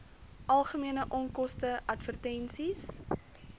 algemene onkoste advertensies